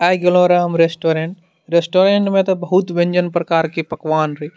आय गेलों रहो हम रेस्टोरेंट रेस्टोरेंट में ते बहुत व्यंजन प्रकार के पकवान रहे।